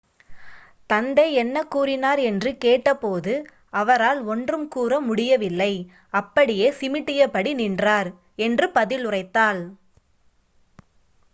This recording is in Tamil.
"தந்தை என்ன கூறினார் என்று கேட்டபோது "அவரால் ஒன்றும் கூற முடியவில்லை - அப்படியே சிமிட்டியபடி நின்றார்" என்று பதிலுரைத்தாள்.